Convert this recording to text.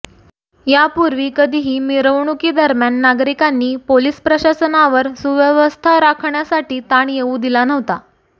यापूर्वी कधीही मिरवणूकीदरम्यान नागरिकांनी पोलीस प्रशासनावर सुव्यवस्था राखण्यासाठी ताण येऊ दिला नव्हता